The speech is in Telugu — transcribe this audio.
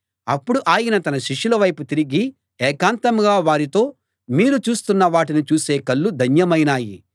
అప్పుడు ఆయన తన శిష్యుల వైపు తిరిగి ఏకాంతంగా వారితో మీరు చూస్తున్న వాటిని చూసే కళ్ళు ధన్యమైనాయి